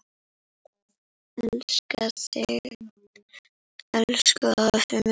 Elska þig, elsku afi minn.